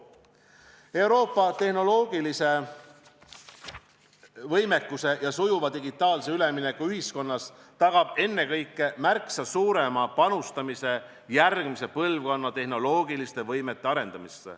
Euroopa tehnoloogilise võimekuse ja sujuva digitaalse ülemineku ühiskonnas tagab ennekõike märksa suurem panustamine järgmise põlvkonna tehnoloogiliste võimete arendamisse.